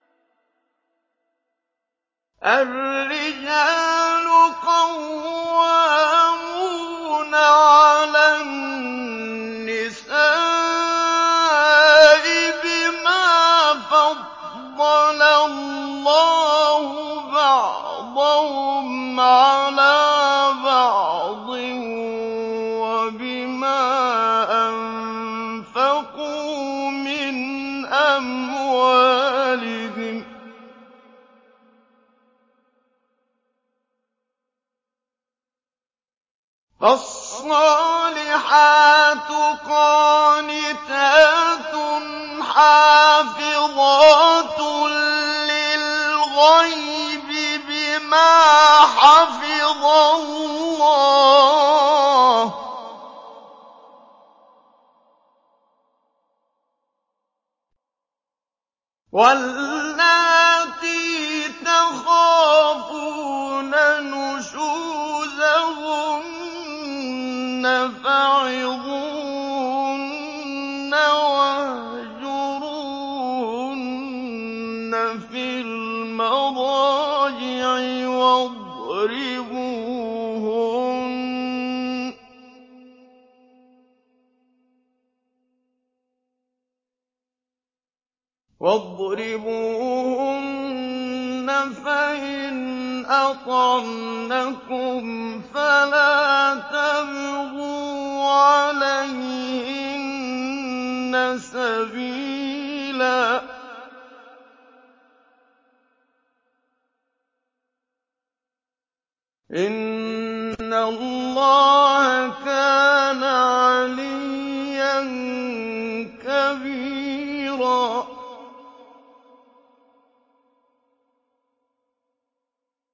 الرِّجَالُ قَوَّامُونَ عَلَى النِّسَاءِ بِمَا فَضَّلَ اللَّهُ بَعْضَهُمْ عَلَىٰ بَعْضٍ وَبِمَا أَنفَقُوا مِنْ أَمْوَالِهِمْ ۚ فَالصَّالِحَاتُ قَانِتَاتٌ حَافِظَاتٌ لِّلْغَيْبِ بِمَا حَفِظَ اللَّهُ ۚ وَاللَّاتِي تَخَافُونَ نُشُوزَهُنَّ فَعِظُوهُنَّ وَاهْجُرُوهُنَّ فِي الْمَضَاجِعِ وَاضْرِبُوهُنَّ ۖ فَإِنْ أَطَعْنَكُمْ فَلَا تَبْغُوا عَلَيْهِنَّ سَبِيلًا ۗ إِنَّ اللَّهَ كَانَ عَلِيًّا كَبِيرًا